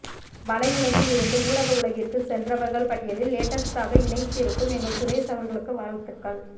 வலையுலகில் இருந்து ஊடக உலகிற்கு சென்றவர்கள் பட்டியலில் லேட்டஸ்ட்டாக இணைத்திருக்கும் எங்கள் சுரேஷ் அவர்களுக்கு வாழ்த்துகள்